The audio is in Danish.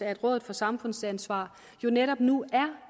at rådet for samfundsansvar jo netop nu er